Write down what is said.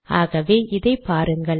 ஆகவே இதை பாருங்கள்